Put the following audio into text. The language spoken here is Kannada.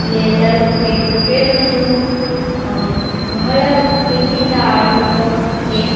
ಇಲ್ಲಿ ಎಲ್ಲರೂ ಕ್ರಿಕೆಟ್ ಕ್ರಿಕೆಟ್ ಒಂದು ಆಮ್ ಬಹಳ ಪ್ರೀತಿ ಇಂದ ಆಡುವ ಗೇಮ್ .